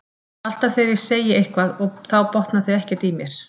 Alltaf þegar ég segi eitthvað og þá botna þau ekkert í mér.